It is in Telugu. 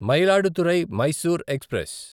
మయిలాడుతురై మైసూర్ ఎక్స్ప్రెస్